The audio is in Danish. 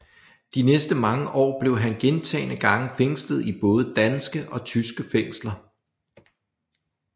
De næste mange år blev han gentagne gange fængslet i både danske og tyske fængsler